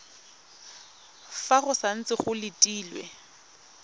fa go santse go letilwe